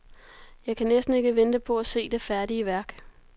Jeg kan næsten ikke vente på at se det færdige værk.